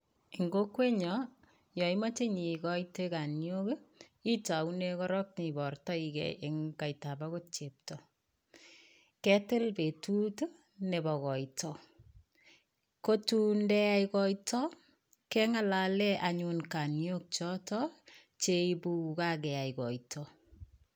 En konweyon yon imoche igoite kanyiok, itau koron ibortoi ge en kaita agot chepto. Ketil betut nebo koito. Ko tun ye yaak koito, keng'alale anyun kanyiolk choto che ibu kokakeyai koito.